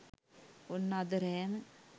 ඔන්න අද රෑම